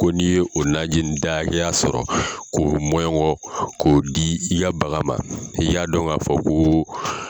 Ko n' ye o najini da hakɛya sɔrɔ ko mɔnɲɔgɔn k'o di i ka bagan ma, i k'a dɔn k'a fɔ ko.